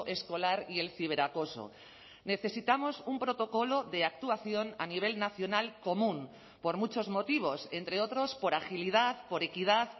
escolar y el ciberacoso necesitamos un protocolo de actuación a nivel nacional común por muchos motivos entre otros por agilidad por equidad